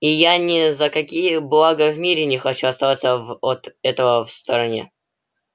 и я ни за какие блага в мире не хочу остаться в от этого в стороне